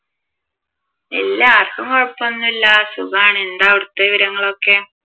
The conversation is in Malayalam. ഇല്ല ആർക്കും കൊഴപ്പം ഒന്നും ഇല്ല സുഖമാണ് എന്താ അവിടത്തെ വിവരങ്ങൾ ഒക്കെ?